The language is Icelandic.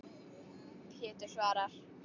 Pétur svarar.